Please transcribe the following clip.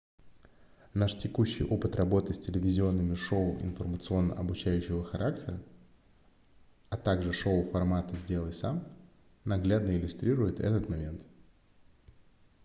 наш текущий опыт работы с телевизионными шоу информационно-обучающего характера а также шоу формата сделай сам наглядно иллюстрирует этот момент